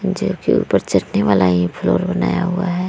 जो की ऊपर चढ़ने वाला ये फ्लोर बनाया हुआ है ।